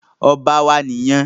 Ọba wo nìyẹn?